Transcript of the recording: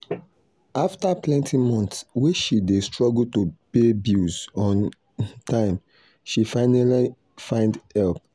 after plenty months way she dey struggle to pay bills on um time she finally find help.